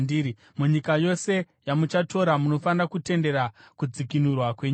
Munyika yose yamuchatora, munofanira kutendera kudzikinurwa kwenyika.